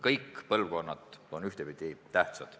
Kõik põlvkonnad on ühtviisi tähtsad.